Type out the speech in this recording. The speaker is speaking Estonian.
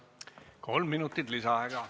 Kolm minutit lisaaega.